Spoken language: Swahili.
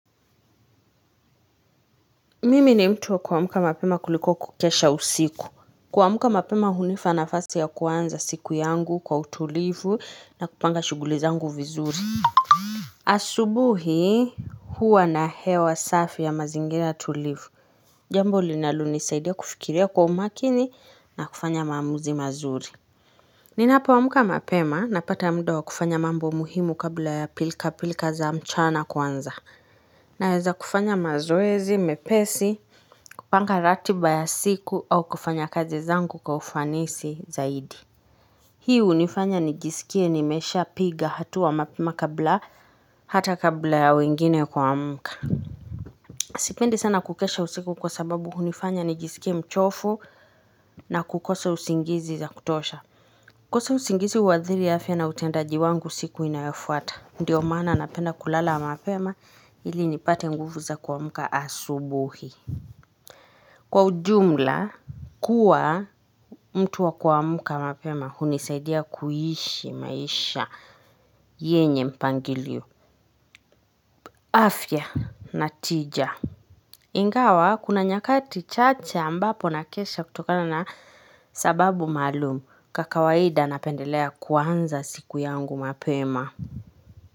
Mimi ni mtu waku amka mapema kuliko kukesha usiku. Kuamka mapema hunipa nafasi ya kuanza siku yangu kwa utulivu na kupanga shughuli zangu vizuri. Asubuhi huwa na hewa safi ya mazingira tulivu. Jambo linalo nisaidia kufikiria kwa umakini na kufanya maamuzi mazuri. Ninapoamka mapema napata muda wa kufanya mambo muhimu kabla ya pilka pilka za mchana kuanza. Naweza kufanya mazoezi mepesi, kupanga ratiba ya siku au kufanya kazi zangu kwa ufanisi zaidi Hii hunifanya nijisikie nimesha piga hatua mapema kabla hata kabla ya wengine kuamka Sipendi sana kukesha usiku kwa sababu hunifanya nijisikie mchofu na kukosa usingizi wa kutosha kukosa usingizi huathiri afya na utendaji wangu siku inayofuata ndio maana napenda kulala mapema ili nipate nguvu za kuamka asubuhi. Kwa ujumla kuwa mtu wa kuamka mapema hunisaidia kuishi maisha yenye mpangilio afya na tija Ingawa kuna nyakati chache ambapo na kesha kutokana na sababu maalumu kwa kawaida napendelea kuanza siku yangu mapema.